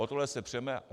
O tohle se přeme.